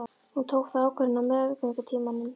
Hún tók þá ákvörðun á meðgöngutímanum.